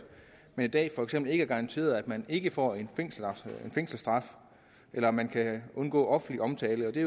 man i dag for eksempel ikke er garanteret at man ikke får en fængselsstraf eller at man kan undgå offentlig omtale der